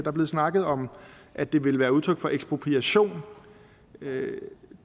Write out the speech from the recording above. er blevet snakket om at det ville være udtryk for ekspropriation